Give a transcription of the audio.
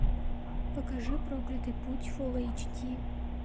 покажи проклятый путь фул эйч ди